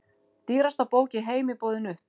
Dýrasta bók í heimi boðin upp